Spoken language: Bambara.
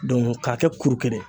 Dɔnku k'a kɛ kuru kelen